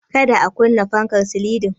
Ka da a kunna fankar silin din.